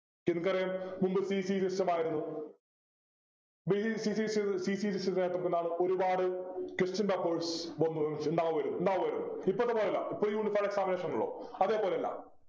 നിങ്ങൾക്കറിയാം മുൻപ് PC system ആയിരുന്നു അടിച്ചത് നമ്മക് ഒരുപാട് question papers വന്നു ഉണ്ടാവുമായിരുന്നു ഉണ്ടാവുമായിരുന്നു ഇപ്പോളത്തെ പോലെ അല്ല ഇപ്പോള് uniform examination ആണല്ലോ അതേപോലെ അല്ല